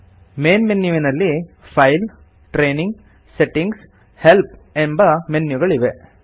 main ಮೆನ್ಯುನಲ್ಲಿ file training settings help ಎಂಬ ಮೆನ್ಯುಗಳು ಇವೆ